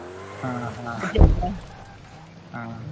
ಹಾ ಹಾ ಹಾ.